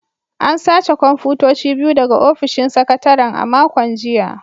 An sace kwamfutoci biyu daga ofishin sakataren a makon jiya